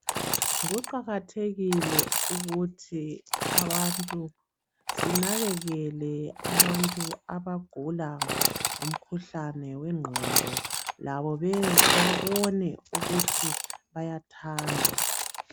Kuqakathekile ukuthi abantu sinakekele abantu abagula umkhuhlane wengqondo labo babone ukuthi bayathandwa.